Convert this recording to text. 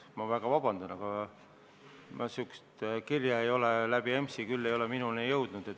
Ma palun väga vabandust, aga sellist kirja ei ole EMS-ist küll minu kätte jõudnud.